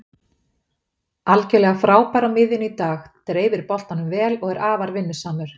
Algjörlega frábær á miðjunni í dag, dreifir boltanum vel og er afar vinnusamur